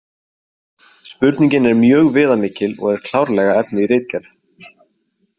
Spurningin er mjög viðamikil og er klárlega efni í ritgerð.